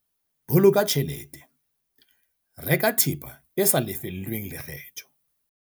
Boloka tjhelete- Reka thepa e sa lefellweng lekgetho